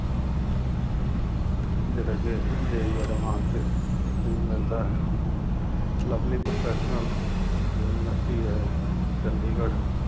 ਜਿਹੜਾ ਕਿ JEE advance ਦੇ through ਮਿਲਦਾ ਹੈ। ਲਵਲੀ ਪ੍ਰੌਫੈਸ਼ਨਲ ਯੂਨੀਵਰਸਿਟੀ ਹੈ, ਚੰਂਡੀਗੜ੍ਹ